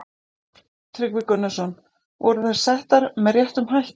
Tryggvi Gunnarsson: Voru þær settar með réttum hætti?